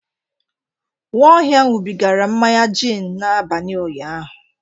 Nwaohia ṅụbigara mmanya gin n'abalị ụnyaahụ.